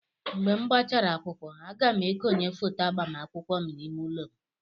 Mgbe gbachara akwụkwọ, a ga m ekonye foto agbamakwụkwọ m n'ime ụlọ m.